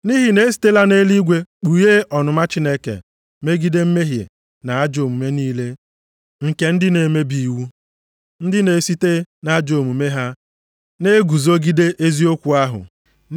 Nʼihi na e sitela nʼeluigwe kpughe ọnụma Chineke megide mmehie na ajọ omume niile nke ndị na-emebi iwu, ndị na-esite nʼajọ omume ha na-eguzogide eziokwu ahụ.